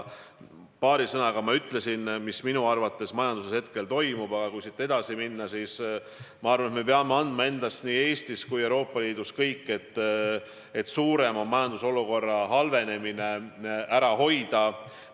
Paari sõnaga ma ütlesin, mis minu arvates majanduses praegu toimub, aga kui siit edasi minna, siis ma arvan, et me peame andma endast nii Eestis kui ka kogu Euroopa Liidus kõik, et suurem majandusolukorra halvenemine ära hoida.